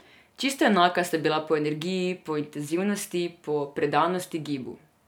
Čisto enaka sta bila po energiji, po intenzivnosti, po predanosti gibu.